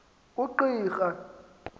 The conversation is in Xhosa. ungqika